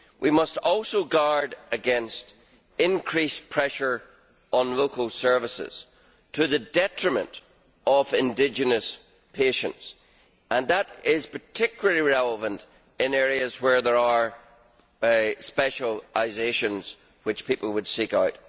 We must also guard against increased pressure on local services to the detriment of indigenous patients, and that is particularly relevant in areas where there are specialisations which people would seek out.